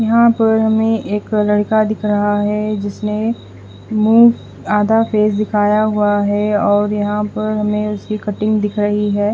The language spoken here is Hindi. यहां पर हमें एक लड़का दिख रहा है जिसमें मुंह आधा फेस दिखाया हुआ है और यहां पर हमें उसकी कटिंग दिख रही है।